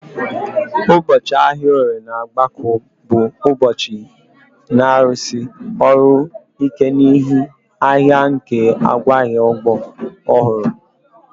Ụbọchị ahịa Orie na obgaku bụ ụbọchị na-arụsi ọrụ ike n'ihi ahịa nke ngwaahịa ugbo ọhụrụ